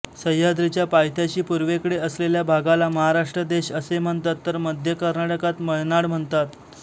सह्याद्रीच्या पायथ्याशी पूर्वेकडे असलेल्या भागाला महाराष्ट्र देश असे म्हणतात तर मध्य कर्नाटकात मळनाड म्हणतात